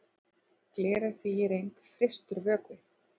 gler er því í reynd frystur vökvi